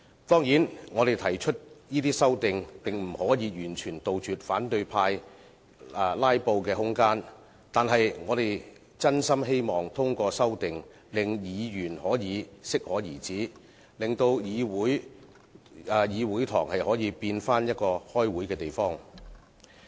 當然，我們提出的這些修訂並不能完全杜絕反對派的"拉布"空間，但我們真心希望通過修訂令議員可以適可而止，令議事堂變回開會的地方。